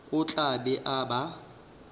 o tla be a ba